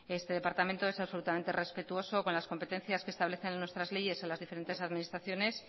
este departamento es absolutamente respetuoso con las competencias que establecen en nuestras leyes en las diferentes administraciones